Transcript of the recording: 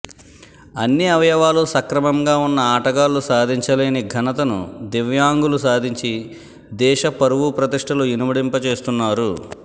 అన్ని అవయవాలు సక్రమంగా ఉన్న ఆటగాళ్లు సాధించలేని ఘనతను దివ్యాంగులు సాధించి దేశ పరువు ప్రతిష్ఠలు ఇనుమడింపజేస్తున్నారు